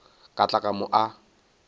ka tla ka mo a